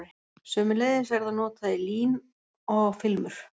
Sömuleiðis er það notað í lím og filmur.